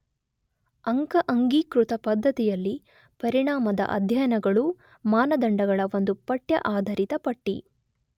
ಅಂಕ ಅಂಗೀಕೃತ ಪದ್ಧತಿಯಲ್ಲಿ ಪರಿಣಾಮದ ಅಧ್ಯಯನಗಳು ಮಾನದಂಡಗಳ ಒಂದು ಪಠ್ಯ ಆಧರಿತ ಪಟ್ಟಿ